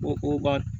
Ko ko ba